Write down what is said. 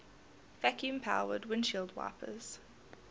vacuum powered windshield wipers